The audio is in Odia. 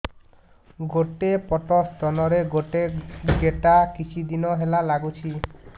ଗୋଟେ ପଟ ସ୍ତନ ରେ ଗୋଟେ ଗେଟା କିଛି ଦିନ ହେଲା ଲାଗୁଛି